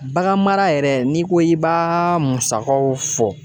Baganmara yɛrɛ n'i ko i b'a musakaw fɔ.